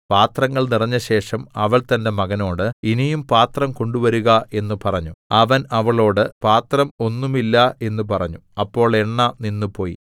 പാത്രങ്ങൾ നിറഞ്ഞശേഷം അവൾ തന്റെ മകനോട് ഇനിയും പാത്രം കൊണ്ടുവരുക എന്ന് പറഞ്ഞു അവൻ അവളോട് പാത്രം ഒന്നും ഇല്ല എന്ന് പറഞ്ഞു അപ്പോൾ എണ്ണ നിന്നുപോയി